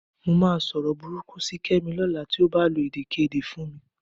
Mo máa sọ̀rọ̀ burúkú sí Kẹ́mi lọ́la tí ó bá lo èdèkéde fún mi